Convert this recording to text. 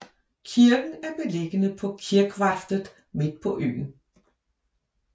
Kirken er beliggende på kirkvarftet midt på øen